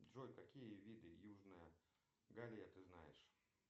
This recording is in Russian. джой какие виды южная галия ты знаешь